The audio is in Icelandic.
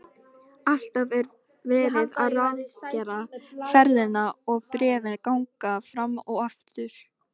Alltaf er verið að ráðgera ferðina og bréfin ganga fram og aftur.